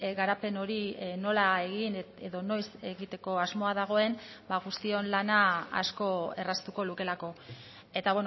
garapen hori nola egin edo noiz egiteko asmoa dagoen ba guztion lana asko erraztuko lukeelako eta